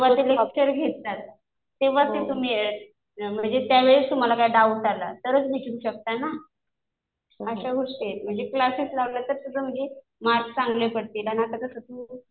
ते फक्त लेक्चर घेतात. तेव्हा ते तुम्ही म्हणजे त्यावेळेस तुम्हाला काही डाउट आला तरच विचारू शकता ना. अशा गोष्टी आहेत. म्हणजे क्लासेस लावलं तर तुझं म्हणजे मार्क चांगले पडतील. आणि आता कसं